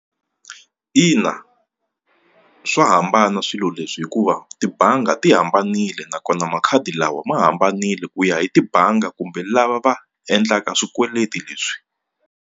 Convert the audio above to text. Ina swa hambana swilo leswi hikuva tibangi ti hambanile nakona makhadi lawa ma hambanile ku ya hi tibangi kumbe lava va endlaka swikweleti leswi.